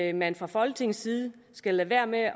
at man fra folketingets side skal lade være med at